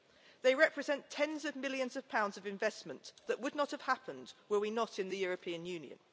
They represent tens of millions of pounds of investment that would not have happened were we not in the European Union.